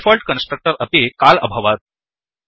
default constructor अपि call अभवत्